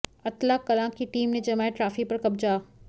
अत्तला कलां की टीम ने जमाया ट्राफी पर कब्जा